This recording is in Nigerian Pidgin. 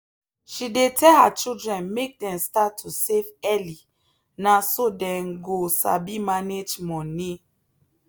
she dey tell her children make dem start to save early na so dem go sabi manage money.